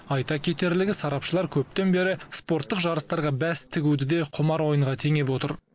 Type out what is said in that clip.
айта кетерлігі сарапшылар көптен бері спорттық жарыстарға бәс тігуді де құмар ойынға теңеп отыр